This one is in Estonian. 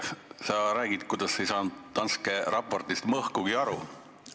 Sa rääkisid, et ei saanud Danske raportist mõhkugi aru.